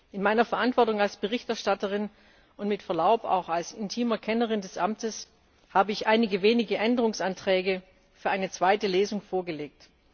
In meiner Verantwortung als Berichterstatterin und mit Verlaub als intime Kennerin des Amtes habe ich einige wenige Änderungsanträge für eine zweite Lesung vorgelegt.